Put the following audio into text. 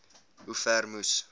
hoe ver moes